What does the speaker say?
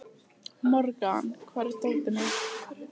Morgan, hvar er dótið mitt?